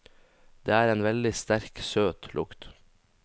Det er en veldig sterk, søt lukt.